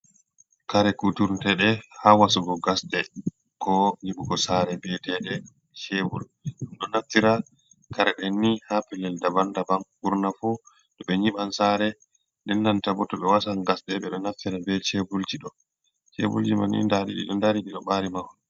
Kare kuturtede ha wasugo gasɗe ko nyibugo sare be teɗe cebur, ɗum ɗo naftira kare ɗenni ha pelel daban daban burna fu to ɓe nyiban sare den nanta bo to ɓe wasan gasɗe ɓe ɗo naftira be cebulji ɗo, ceburji manni daɗi ɗido dari ɗiɗo bari mahol.